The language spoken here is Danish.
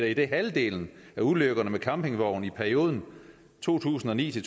idet halvdelen af ulykkerne med campingvogne i perioden to tusind og ni til